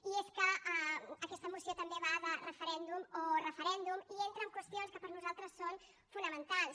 i és que aquesta moció també va de referèndum o referèndum i entra en qüestions que per nosaltres són fonamentals